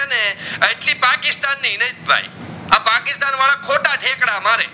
ને એટલી પાકિસ્તાન ની હીનેશ ભાઈ આ પાકિસ્તાન વડા ખોટા ઠેકડા મારે